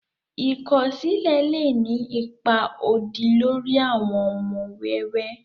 ikọsilẹ lé ní ipá odì lórí àwon ọmọ wẹ́wẹ